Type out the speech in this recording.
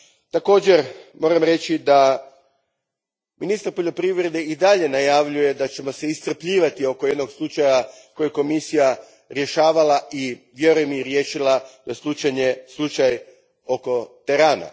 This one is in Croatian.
Također, moram reći da ministar poljoprivrede i dalje najavljuje da ćemo se iscrpljivati oko jednog slučaja koji je Komisija rješavala i, vjerujem, riješila, slučaj oko terana.